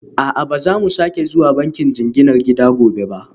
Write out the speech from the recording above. A'a, ba za mu sake zuwa bankin jinginar gida gobe ba